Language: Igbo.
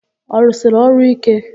Ọ rụsiri ọrụ íké?